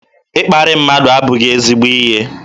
Ịkparị mmadụ abụghị ezigbo ihe